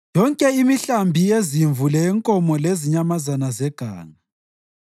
yonke imihlambi yezimvu leyenkomo lezinyamazana zeganga,